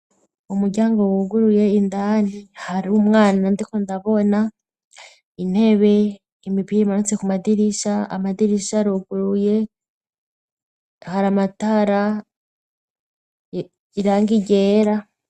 Umuryango wuguruye indani har'umwana ndiko ndabona intebe, imipira imanitse kumadirisha, amadirisha aruguruye, har'amatara, irangi ryera.